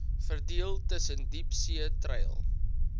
verdeel tussen diepseetreil